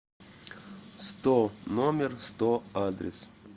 сто номер сто адрес